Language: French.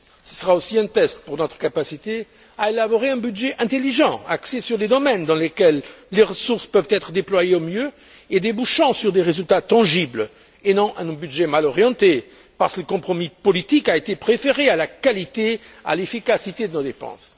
Ce sera aussi un test pour notre capacité à élaborer un budget intelligent, axé sur les domaines dans lesquels les ressources peuvent être déployées au mieux et débouchant sur des résultats tangibles, et non sur un budget mal orienté, parce que le compromis politique a été préféré à la qualité et à l'efficacité de nos dépenses.